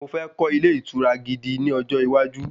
Mo fẹ́ kọ́ ilé ìtura gidi ní ọjọ́ iwájú